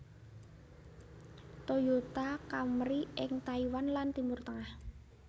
Toyota Camry ing Taiwan lan Timur Tengah